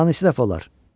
Danış iki dəfə olar.